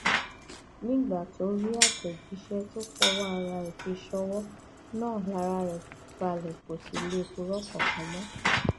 nígbà tó rí àtẹjíṣẹ tó fọwọ ara ẹ fi ṣọwọ náà lára rẹ balẹ kó sì lè purọ kankan mọ